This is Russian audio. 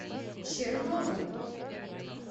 черновым